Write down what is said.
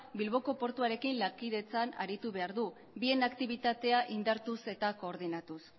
bilboko portuarekin lankidetzan aritu behar du bien aktibitatea indartuz eta koordinatuz